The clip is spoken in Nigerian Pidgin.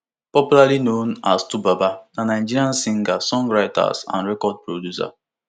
popularly known as twobaba na nigerian singer songwriters and record producer